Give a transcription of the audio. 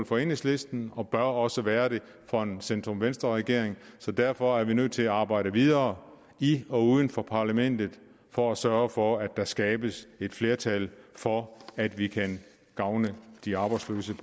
for enhedslisten og bør også være det for en centrum venstre regering så derfor er vi nødt til at arbejde videre i og uden for parlamentet for at sørge for at der skabes et flertal for at vi kan gavne de arbejdsløses